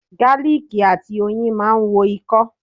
Gáálìkì àti oyin máa ń wo ikọ́.